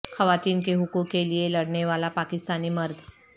خواتین کے حقوق کے لیے لڑنے والا پاکستانی مرد